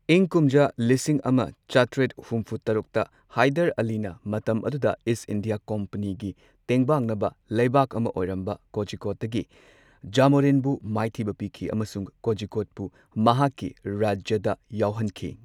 ꯏꯪ ꯀꯨꯝꯖꯥ ꯂꯤꯁꯤꯡ ꯑꯃ ꯆꯥꯇ꯭ꯔꯦꯠ ꯍꯨꯝꯐꯨ ꯇꯔꯨꯛꯇ ꯍꯥꯏꯗꯔ ꯑꯂꯤꯅ ꯃꯇꯝ ꯑꯗꯨꯗ ꯏꯁꯠ ꯏꯟꯗꯤꯌꯥ ꯀꯝꯄꯦꯅꯤꯒꯤ ꯇꯦꯡꯕꯥꯡꯅꯕ ꯂꯩꯕꯥꯛ ꯑꯃ ꯑꯣꯏꯔꯝꯕ ꯀꯣꯖꯤꯀꯣꯗꯒꯤ ꯖꯥꯃꯣꯔꯤꯟꯕꯨ ꯃꯥꯏꯊꯤꯕ ꯄꯤꯈꯤ꯫ ꯑꯃꯁꯨꯡ ꯀꯣꯖꯤꯀꯣꯗꯄꯨ ꯃꯍꯥꯛꯀꯤ ꯔꯥꯖ꯭ꯌꯗ ꯌꯥꯎꯍꯟꯈꯤ꯫